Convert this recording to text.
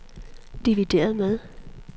divideret med